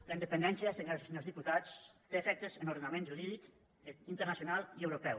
la independència senyores i senyors diputats té efectes en l’ordenament jurídic internacional i europeu